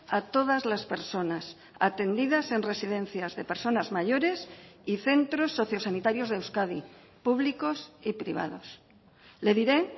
a todas las personas atendidas en residencias de personas mayores y centros sociosanitarios de euskadi públicos y privados le diré